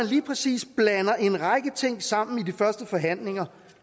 lige præcis en række ting sammen i de første forhandlinger